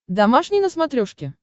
домашний на смотрешке